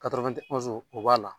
o b'a la